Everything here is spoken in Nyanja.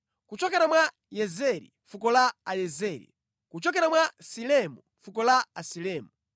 kuchokera mwa Yezeri, fuko la Ayezeri; kuchokera mwa Silemu, fuko la Asilemu.